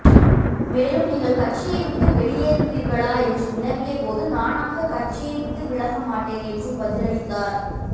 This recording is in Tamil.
மேலும் நீங்கள் கட்சியை விட்டு வெளியேறுவீா்களா என்று வினவிய போது நானாக கட்சியை விட்டுவிலக மாட்டேன் என்றும் பதிலளித்தாா்